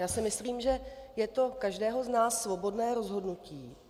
Já si myslím, že je to každého z nás svobodné rozhodnutí.